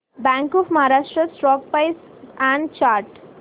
bank of Maharashtra stock price and chart